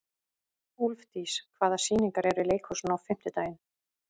Úlfdís, hvaða sýningar eru í leikhúsinu á fimmtudaginn?